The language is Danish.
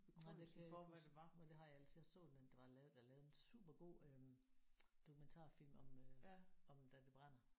Nej det kan jeg heller ikke huske men det har jeg ellers jeg så den der var lavet der er lavet en super god øh dokumentarfilm om øh om da det brænder